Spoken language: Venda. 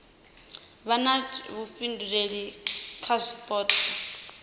vha na vhuifhinduleli kha zwipotso